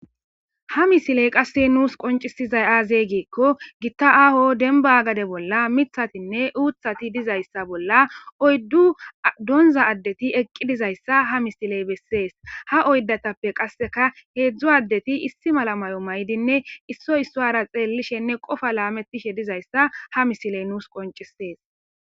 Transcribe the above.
ha misiley qasse nuus qoncisizay aazeygeekko gitta aaho denba gade bolla mithatinne uuthati dizayssa bolla oyddu donza addeti eqqi dizayssa ha misiley bessees ha oydatappe qasseka heedzdzu addeti issi malamayo maydinne issoy issoara xeellishenne qofa laamettishe dizayssa ha misiley nuus qoncisees